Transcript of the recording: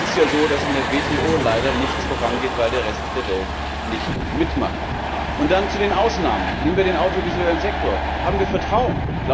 Es ist ja so, dass in der WTO leider nichts vorangeht, weil der Rest der Welt nicht mitmacht. Und dann zu den Ausnahmen Nehmen wir den audiovisuellen Sektor Haben wir Vertrauen!